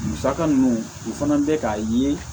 Musaka ninnu u fana bɛ k'a ye